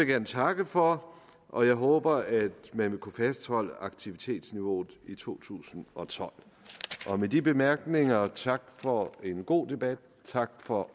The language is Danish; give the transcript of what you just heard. gerne takke for og jeg håber at man vil kunne fastholde aktivitetsniveauet i to tusind og tolv med de bemærkninger sige tak for en god debat tak for